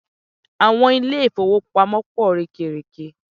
Àwọn ilé-ìfówopamọ́ pọ̀ rẹ́kẹrẹ̀kẹ.